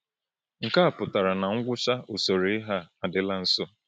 Nke a pụtara na ngwụcha usoro ihe a adịla nso.